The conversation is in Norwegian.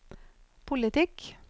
politikk